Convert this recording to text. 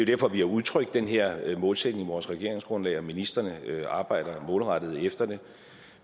derfor vi har udtrykt den her målsætning i vores regeringsgrundlag og ministrene arbejder målrettet efter det